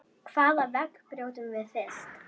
Hvaða vegg brjótum við fyrst?